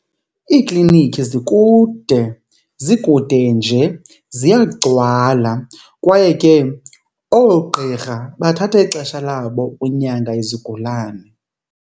Iikliniki zikude, zikude nje ziyagcwala kwaye ke oogqirha bathatha ixesha labo unyanga izigulane.